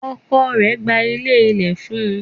Ọkọ rẹ̀ gba ilé ilẹ̀ fún un.